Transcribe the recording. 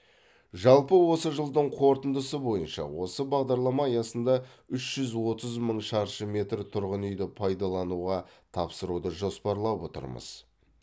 жалпы осы жылдың қорытындысы бойынша осы бағдарлама аясында үш жүз отыз мың шаршы метр тұрғын үйді пайдалануға тапсыруды жоспарлап отырмыз